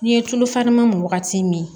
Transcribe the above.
N'i ye tulu faran min wagati min